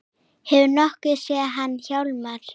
Hefurðu nokkuð séð hann Hjálmar